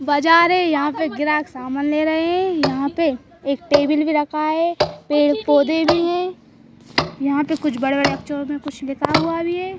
बाजार है। यहां पे ग्राहक सामान ले रहे है। यहां पे एक टेबिल भी रखा है। पेड़ पौधे भी है। यहां पे कुछ बड़े-बड़े अक्षरों में कुछ लिखा हुआ भी है।